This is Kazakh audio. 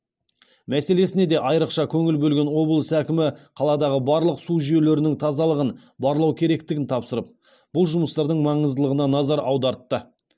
мәселесіне де айрықша көңіл бөлген облыс әкімі қаладағы барлық су жүйелерінің тазалығын барлау керектігін тапсырып бұл жұмыстардың маңыздылығына назар аудартты